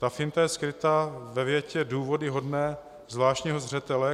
Ta finta je skryta ve větě: Důvody hodné zvláštního zřetele...